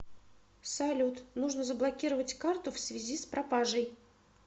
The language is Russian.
салют нужно заблокировать карту в связи с пропажей